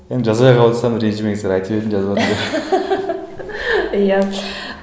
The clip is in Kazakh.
енді жазбай қалыватсам ренжімеңіздер айтып еді жазбады деп иә